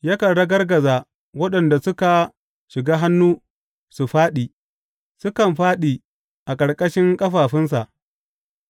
Yakan ragargaza waɗanda suka shiga hannu, su fāɗi; sukan fāɗi a ƙarƙashin ƙarfinsa.